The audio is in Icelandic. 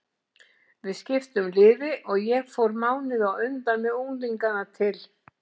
Við skiptum liði og ég fór mánuði á undan með unglingana til